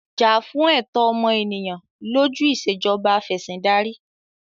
Jà fún ẹ̀tọ́ ọmọ ènìyàn lójú Ìṣèjọba Af'ẹ̀sìndarí!